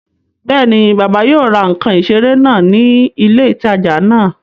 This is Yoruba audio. Bẹ́ẹ̀ni, bàbá yóò ra ǹkan ìseré náà ní ilé ìtajà náà